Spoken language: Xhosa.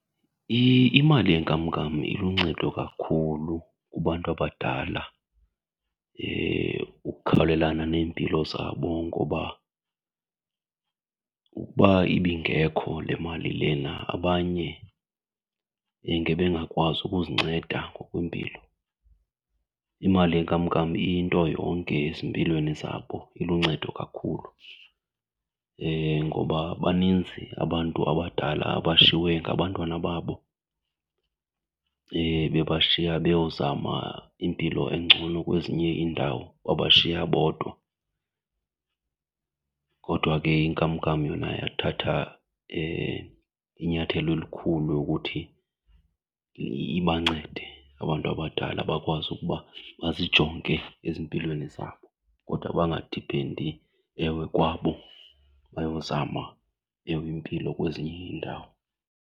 Imali yenkamnkam iluncedo kakhulu kubantu abadala ukukhawulelana neempilo zabo ngoba ukuba ibingekho le mali lena abanye ngebengakwazi ukuzinceda ngokwempilo. Imali yenkamnkam iyinto yonke ezimpilweni zabo, iluncedo kakhulu ngoba baninzi abantu abadala abashiywe ngabantwana babo bebashiya beyozama impilo engcono kwezinye iindawo, babashiya bodwa. Kodwa ke inkamnkam yona yathatha inyathelo elikhulu lokuthi ibancede abantu abadala bakwazi ukuba bazijonge ezimpilweni zabo kodwa bangadiphendi ewe kwabo bayozama ewe impilo kwezinye iindawo.